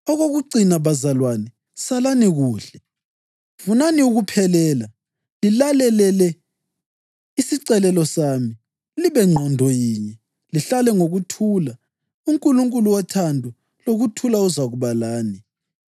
Okokucina, bazalwane, salani kuhle. Funani ukuphelela, lilalele isicelo sami, libe ngqondo yinye, lihlale ngokuthula. UNkulunkulu wothando lokuthula uzakuba lani.